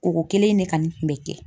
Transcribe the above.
Koko kelen in de kani kun bɛ kɛ.